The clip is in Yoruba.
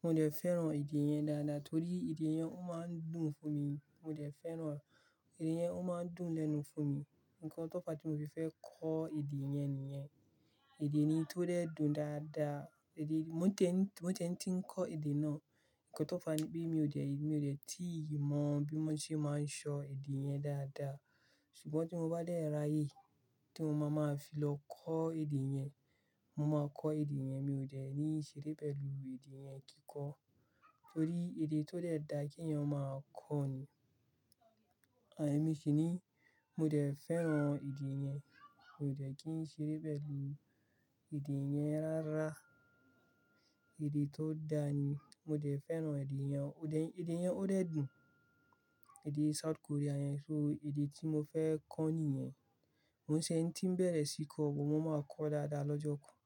Mo dẹ̀ fẹ́ràn èdè yẹn dáadáa torí èdè yẹn ó máa ń dùn fún mi. Mo dẹ̀ fẹ́ràn èdè yẹn ó máa ń dùn lẹ́nu fún mi. Ǹkan tó fa tí mo fi fẹ́ kọ́ èdè yẹn nìyẹn. Èdè ni tó dẹ dùn dáadáa, èdè mo tẹ́ń- mo tẹ́ń tí ń kọ́ èdè náà. Ǹkan tó fa ni pé mi ò dẹ̀ ì- mi ò dẹ̀ tíì mọ bí wọ́n ṣé máa ń ṣọ èdè yẹn dáadáa. Ṣùgbọ́n tí mo bá dẹ̀ ráyè tí mo máa máa fi lọ kọ́ èdè yẹn, mo máa kọ́ èdè yẹn. Mi ò dẹ̀ ní ṣeré pẹ̀lú èdè yẹn kí kọ́ torí èdè tó dẹ dá kí ẹ̀yin máa kọ́ ni. À emì ṣì ni mo dẹ̀ fẹ́ràn èdè yẹn. Mi ò dẹ̀ kí ń ṣeré pẹ̀lú èdè yẹn rárá. Èdè tó dáa ni. Mo dẹ̀ fẹ́ràn èdè yẹn. Òdẹ̀- èdè yẹn ó dẹ dùn. Èdè South Korea yẹn. So èdè tí mo fẹ́ kọ́ ni yẹn. Mo ṣé ń tí ń bẹ̀rẹ̀ sí kọ́, mo máa kọ́ dáadáa lọ́jọ́ kan.